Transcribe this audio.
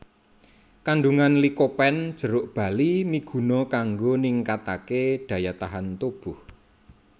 Kandungan likopen jeruk bali miguna kanggo ningkataké daya tahan tubuh